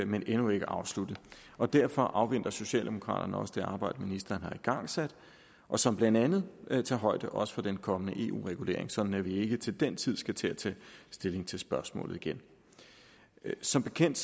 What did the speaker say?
men endnu ikke afsluttet og derfor afventer socialdemokraterne også det arbejde ministeren har igangsat og som blandt andet tager højde også for den kommende eu regulering sådan at vi ikke til den tid skal til at tage stilling til spørgsmålet igen som bekendt